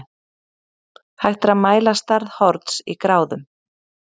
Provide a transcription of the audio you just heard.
Hægt er að mæla stærð horns í gráðum.